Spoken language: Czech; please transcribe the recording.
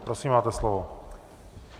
Prosím, máte slovo.